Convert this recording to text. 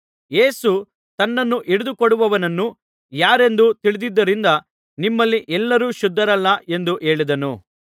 ಯೇಸು ತನ್ನನ್ನು ಹಿಡಿದು ಕೊಡುವವನು ಯಾರೆಂದು ತಿಳಿದಿದ್ದರಿಂದ ನಿಮ್ಮಲ್ಲಿ ಎಲ್ಲರೂ ಶುದ್ಧರಲ್ಲ ಎಂದು ಹೇಳಿದ್ದನು